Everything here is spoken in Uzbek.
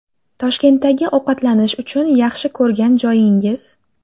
Toshkentdagi ovqatlanish uchun yaxshi ko‘rgan joyingiz?